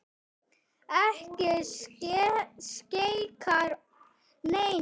Ekki skeikar neinu.